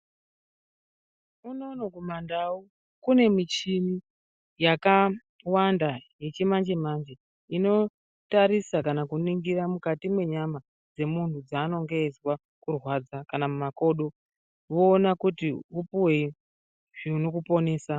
Unono kumandau kune michini yakaawanda yechimanje manje inoo tarisa kana kuningira mukati mwenyama dzemunhu mwaanenge eizwe kurwadza kana mumakodo voona kuti upiwe zvinokuponesa.